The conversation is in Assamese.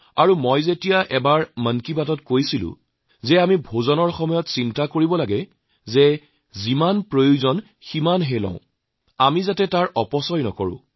আৰু মই যেতিয়া এবাৰ মন কী বাতত কৈছিলো আমি খোৱাৰ সময়ত চিন্তা কৰা উচিত যে যিমান প্ৰয়োজন সিমানে লব আমি সেয়া নষ্ট কৰিব নালাগে